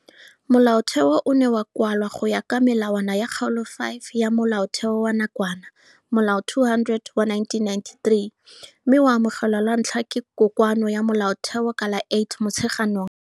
Molaotheo o [, ne wa kwalwa go ya ka melawana ya Kgaolo 5 ya Molaotheo wa nakwana Molao 200 wa 1993 mme wa amogelwa lwa ntlha ke Kokoano ya Molaotheo ka la 8 Motsheganong 1996.